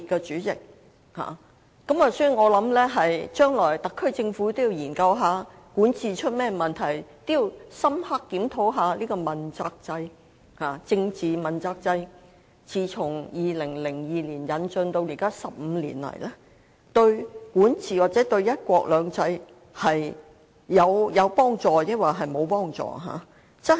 主席，我認為特區政府日後應研究管治出了甚麼問題，深刻檢討政治問責制自2002年引進至今15年來，對管治或"一國兩制"有否幫助。